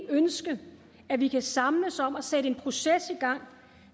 ønske at vi kan samles om at sætte en proces i gang